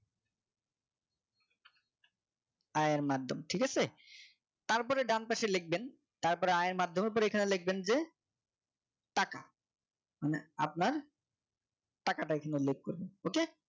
আয়ের মাধ্যম ঠিক আছে? তারপরে ডান পাশে লিখবেন তারপর আয়ের এর মাধ্যমে পরে এখানে লিখবেন যে টাকা মানে আপনার টাকাটা এখানে লিখবেন ok